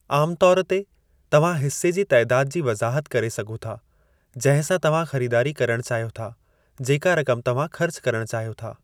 आमु तौर ते, तव्हां हिस्से जे तइदाद जी वज़ाहत करे सघो था, जंहिं सां तव्हां ख़रीदारी करणु चाहियो था जेका रक़म तव्हां ख़र्च करणु चाहियो था।